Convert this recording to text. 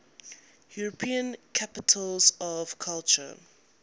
european capitals of culture